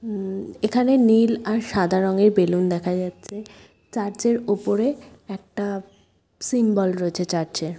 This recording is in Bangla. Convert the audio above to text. উমএখানে নীল আর সাদা রঙের বেলুন দেখা যাচ্ছে। চার্চ -এর উপরে একটা সিম্বল রয়েছে চার্চ -এ ।